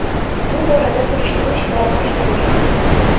Bu borada surishtiruv ishlari boshlangan.